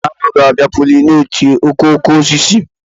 Ee, aṅụ ga-abịa pollinate okooko osisi.